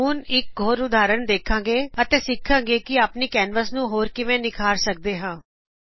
ਹੁਣ ਅਸੀ ਇਕ ਹੋਰ ਉਦਾਹਰਨ ਵੇਖਾਗੇ ਅਤੇ ਸਿੱਖਾਗੇ ਕਿ ਅਸੀ ਆਪਣੀ ਕੈਨਵਸ ਹੋਰ ਵੀ ਕਿਵੇ ਨਿਖਾਰ ਸਕਦੇ ਹਾਂ